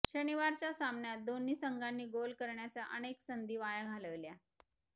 शनिवारच्या सामन्यात दोन्ही संघानी गोल करण्याच्या अनेक संधी वाया घालविल्या